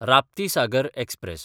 Raptisagar express